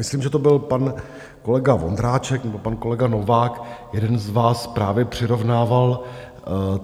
Myslím, že to byl pan kolega Vondráček nebo pan kolega Novák, jeden z vás právě přirovnával